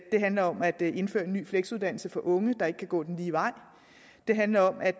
det handler om at indføre en ny fleksuddannelse for unge der ikke kan gå den lige vej det handler om at